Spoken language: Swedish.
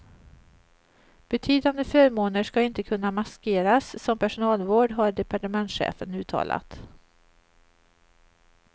Betydande förmåner ska inte kunna maskeras som personalvård, har departementschefen uttalat.